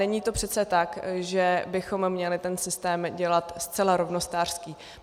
Není to přece tak, že bychom měli ten systém dělat zcela rovnostářský.